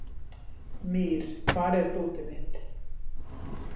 Mír, hvar er dótið mitt?